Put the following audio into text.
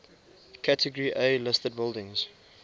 category a listed buildings